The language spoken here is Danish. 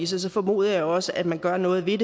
så formoder jeg også at man gør noget ved